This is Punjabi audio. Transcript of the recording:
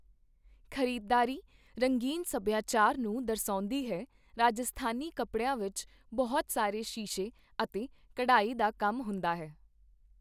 ਖ਼ਰੀਦਦਾਰੀ ਰੰਗੀਨ ਸਭਿਆਚਾਰ ਨੂੰ ਦਰਸਾਉਂਦੀ ਹੈ, ਰਾਜਸਥਾਨੀ ਕੱਪੜਿਆਂ ਵਿੱਚ ਬਹੁਤ ਸਾਰੇ ਸ਼ੀਸ਼ੇ ਅਤੇ ਕਢਾਈ ਦਾ ਕੰਮ ਹੁੰਦਾ ਹੈ।